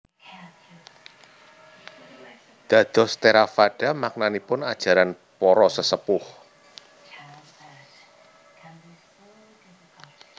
Dados Theravada maknanipun Ajaran Para Sesepuh